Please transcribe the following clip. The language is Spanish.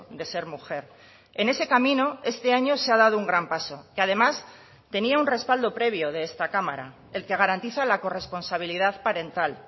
de ser mujer en ese camino este año se ha dado un gran paso que además tenía un respaldo previo de esta cámara el que garantiza la corresponsabilidad parental